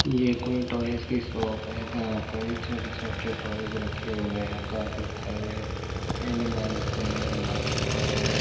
ये कोई टॉयज की शॉप है जहाँ पर ही छोटे-छोटे टॉयज रखे हुए हैं काफी सारे एनिमल्स हैं बर्ड्स ।